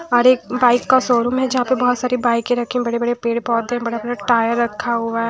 और एक बाइक का शोरूम है जहाँ पे बहुत सारी बाइकें रखी है बड़े-बड़े पेड़-पौधे बड़ा-बड़ा टायर रखा हुआ है।